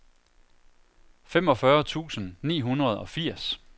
femogfyrre tusind ni hundrede og firs